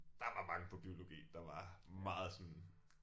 Der var mange på biologi der var meget sådan